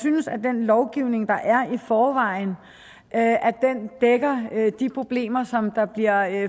synes at den lovgivning der er i forvejen dækker de problemer som der bliver